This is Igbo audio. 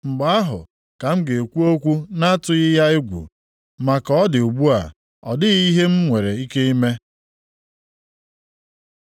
Mgbe ahụ ka m ga-ekwu okwu na-atụghị ya egwu; ma ka ọ dị ugbu a ọ dịghị ihe m nwere ike ime.